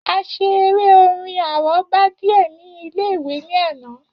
A ṣe eré-orin àrọ́bá díè ní ilé-ìwé ní àná.